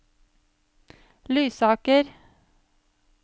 Lysaker